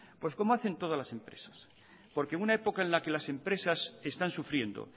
pues como hacen todas las empresas porque una época en la que las empresas están sufriendo